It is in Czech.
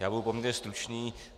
Já budu poměrně stručný.